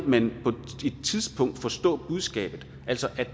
man på et tidspunkt vil forstå budskabet altså at